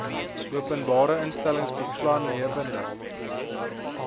openbare instellings belanghebbende